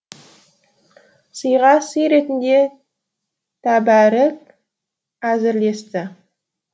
сыйға сый ретінде тәбәрік әзірлесті